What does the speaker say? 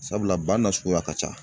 Sabula ba nasuguya ka ca.